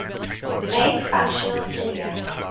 make functional cilia